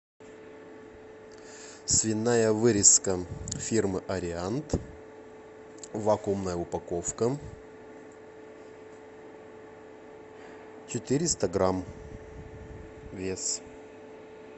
свиная вырезка фирмы ариант вакуумная упаковка четыреста грамм вес